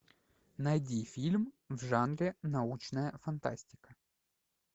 найди фильм в жанре научная фантастика